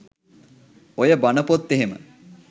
ඔය බන පොත් එහෙම